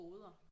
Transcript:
Boder